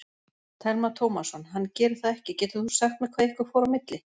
Telma Tómasson: Hann gerir það ekki, getur þú sagt mér hvað ykkur fór á milli?